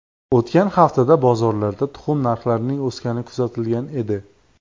O‘tgan haftada bozorlarda tuxum narxlarining o‘sgani kuzatilgan edi.